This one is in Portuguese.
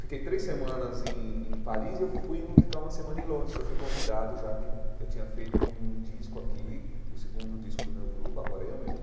Fiquei três semanas em em Paris e eu fui ficar uma semana em Londres, que eu fui convidado, já que eu tinha feito um disco aqui, o segundo disco do meu grupo, agora eu mesmo.